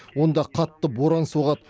онда қатты боран соғады